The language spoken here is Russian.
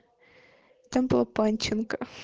там была панченко